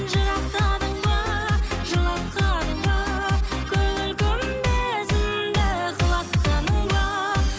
жырақтадың ба жылатқаның ба көңіл күмбезімді құлатқаның ба